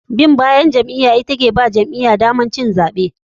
Bin bayan jam'iya ita ke bawa jam'iya damar cin zaɓe.